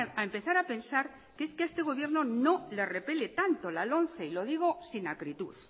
a empezar a pensar que es que a este gobierno no le repele tanto la lomce y lo digo sin acritud